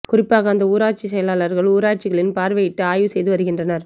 குறிப்பாக அந்தந்த ஊராட்சி செயலர்கள் ஊராட்சிகளில் பார்வையிட்டு ஆய்வு செய்து வருகின்றனர்